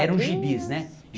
Eram gibis, né?